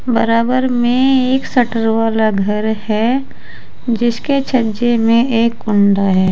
बराबर में एक शटर वाला घर है जिसके छज्जे में एक कुंडा है।